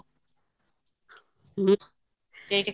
ସେଇଠି